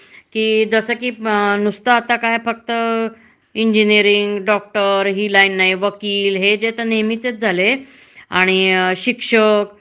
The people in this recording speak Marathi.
की, जस कि नुस्त आता काय फक्त इंजीनियरिंग, डॉक्टर, ही लाइन नाही वकील, हे जे आता नेहमीचच झाले आणि शिक्षक,